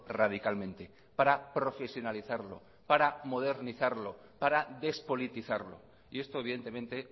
radicalmente para profesionalizarlo para modernizarlo para despolitizarlo y esto evidentemente